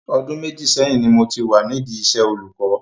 Ọdún méjì sẹ́yìn ni mo ti wà nídi iṣẹ́ olùkọ́.